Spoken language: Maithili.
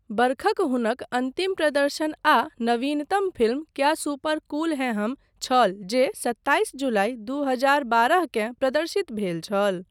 बरखक हुनक अन्तिम प्रदर्शन आ नवीनतम फिल्म 'क्या सुपर कूल हैं हम' छल जे सत्ताइस जुलाई दू हजार बारहकेँ प्रदर्शित भेल छल।